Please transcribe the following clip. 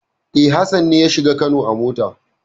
E, Hassan ne ya shiga Kano a mota.